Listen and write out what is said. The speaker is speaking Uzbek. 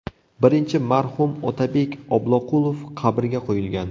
Birinchi marhum Otabek Obloqulov qabrga qo‘yilgan.